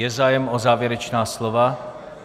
Je zájem o závěrečná slova?